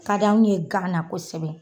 Ka d'anw ye gan na kosɛbɛ.